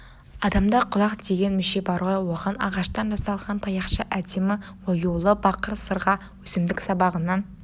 адамда құлақ деген мүше бар ғой оған ағаштан жасалған таяқша әдемі оюлы бақыр сырға өсімдік сабағынан